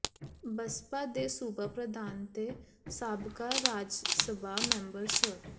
ਬਸਪਾ ਦੇ ਸੂਬਾ ਪ੍ਰਧਾਨ ਤੇ ਸਾਬਕਾ ਰਾਜਸਭਾ ਮੈਂਬਰ ਸ